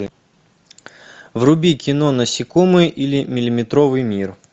вруби кино насекомые или миллиметровый мир